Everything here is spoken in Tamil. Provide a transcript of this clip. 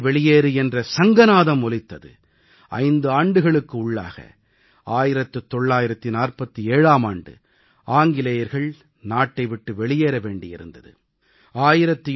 அப்போது வெள்ளையனே வெளியேறு என்ற சங்கநாதம் ஒலித்தது 5 ஆண்டுகளுக்கு உள்ளாக 1947ஆம் ஆண்டு ஆங்கிலேயர்கள் நாட்டை விட்டு வெளியேற வேண்டி வந்தது